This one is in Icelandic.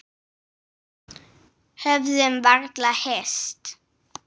Höfðum varla hist.